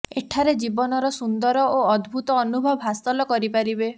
ଏଠାରେ ଜୀବନର ସୁନ୍ଦର ଓ ଅଦ୍ଭୁତ ଅନୁଭବ ହାସଲ କରିପାରିବେ